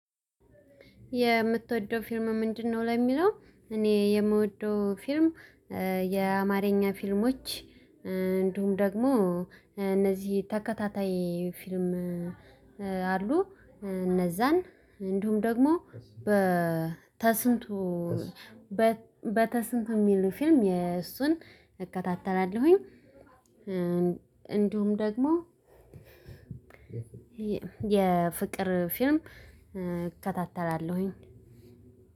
የምትወደው ፊልም ምንድነው? ለሚለው እኔ የምወደው ፊልም የአማርኛ ፊልሞች እንዲሁም ደግሞ እነዚህ ተከታታይ ፊልም አሉ። እነዛን እንዲሁም ደግሞ በተስንቱ በተስንት የሚል ፊልም የእሱን እከታተላለሁኝ። እንዲሁም ደግሞ የፍቅር ፊልም እከታተላለሁኝ።